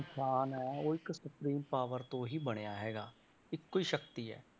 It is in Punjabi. ਇਨਸਾਨ ਹੈ ਉਹ ਇੱਕ supreme power ਤੋਂ ਹੀ ਬਣਿਆ ਹੈਗਾ, ਇੱਕੋ ਹੀ ਸ਼ਕਤੀ ਹੈ।